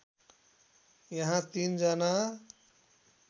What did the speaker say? यहाँ ३ जना